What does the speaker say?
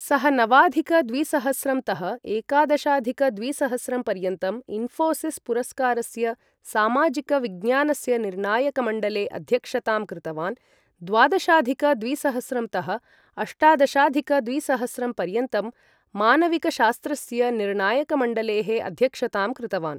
सः नवाधिक द्विसहस्रं तः एकादशाधिक द्विसहस्रं पर्यन्तं इन्फोसिस् पुरस्कारस्य सामाजिकविज्ञानस्य निर्णायकमण्डलेः अध्यक्षतां कृतवान्, द्वादशाधिक द्विसहस्रं तः अष्टादशाधिक द्विसहस्रं पर्यन्तं मानविकशास्त्रस्य निर्णायकमण्डलेः अध्यक्षतां कृतवान्।